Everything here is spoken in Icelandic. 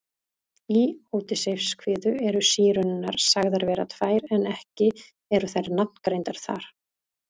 Í Ódysseifskviðu eru Sírenurnar sagðar vera tvær en ekki eru þær nafngreindar þar.